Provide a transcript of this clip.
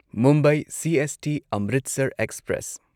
Mumbai CST Amritsar express